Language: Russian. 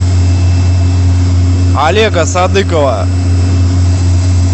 олега садыкова